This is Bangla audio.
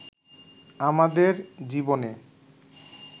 আমাদের জীবনে